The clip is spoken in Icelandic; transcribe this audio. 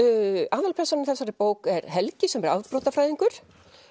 aðalpersónan í þessari bók er Helgi sem er afbrotafræðingur